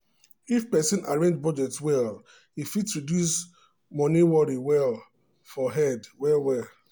if person arrange budget well e fit um reduce money worry um for head well well.